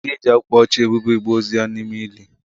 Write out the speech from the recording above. Ha ga-eji akwa ọcha ebuba igbe ozu ya n'ime ala ili?